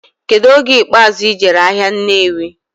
Kedu oge ikpazụ ijere ahia Nnewi?